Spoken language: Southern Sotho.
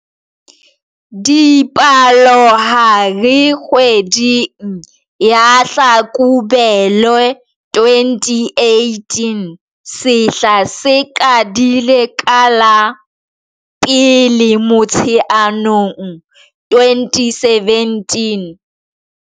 Dipalohare kgweding ya Hlakubele 2018 sehla se qadile ka la 1 Motsheanong 2017.